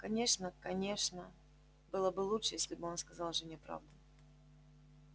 конечно конечно было бы лучше если бы он сказал жене правду